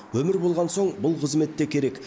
өмір болған соң бұл қызмет те керек